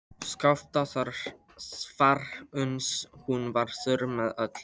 Skaftá þvarr uns hún varð þurr með öllu.